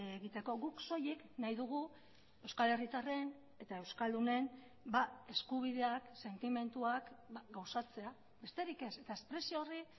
egiteko guk soilik nahi dugu euskal herritarren eta euskaldunen eskubideak sentimenduak gauzatzea besterik ez eta espresio horri